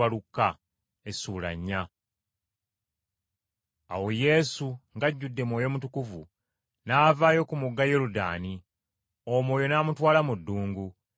Awo Yesu, ng’ajjudde Mwoyo Mutukuvu, n’avaayo ku mugga Yoludaani, Omwoyo n’amutwala mu ddungu,